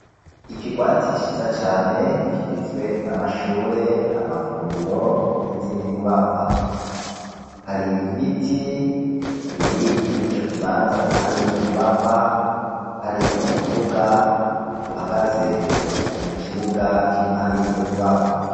Ikigwati ciza cane, kigizwe n'amashure, amavuriro n'izindi nyubakwa; hari ibiti biri muri ico kibanza, impande y'izo nyubakwa, hari n'umuduga uhagaze mu kibuga kiri impande y'izo nyubakwa.